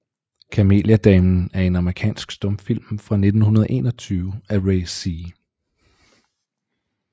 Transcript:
Kameliadamen er en amerikansk stumfilm fra 1921 af Ray C